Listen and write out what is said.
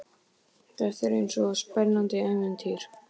Þetta er eins og í spennandi ævintýri.